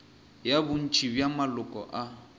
ya bontši bja maloko a